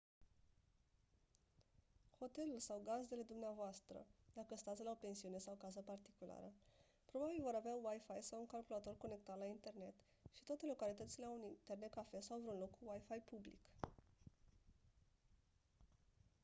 hotelul sau gazdele dumneavoastră dacă stați la o pensiune sau casă particulară probabil vor avea wifi sau un calculator conectat la internet și toate localitățile au un internet cafe sau vreun loc cu wifi public